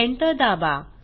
Enter दाबा